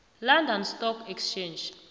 london stock exchange